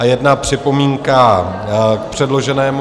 A jedna připomínka k předloženému -